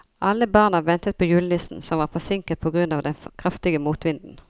Alle barna ventet på julenissen, som var forsinket på grunn av den kraftige motvinden.